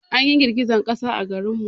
An yi girgejen ƙasa a garin mu